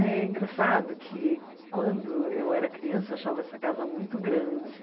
É engraçado que quando eu era criança eu achava essa casa muito grande.